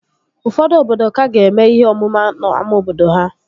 Ụfọdụ obodo ka ga-eme ihe ọmụma n'ámá obodo ha